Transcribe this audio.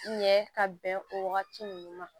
Ɲɛ ka bɛn o wagati ninnu ma